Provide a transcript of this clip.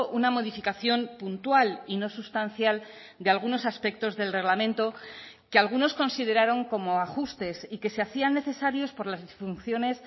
una modificación puntual y no sustancial de algunos aspectos del reglamento que algunos consideraron como ajustes y que se hacían necesarios por las disfunciones